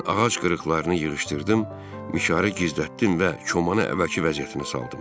Mən ağac qırıqlarını yığışdırdım, mişarı gizlətdim və komanı əvvəlki vəziyyətinə saldım.